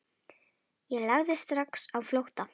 Ég lagði strax á flótta.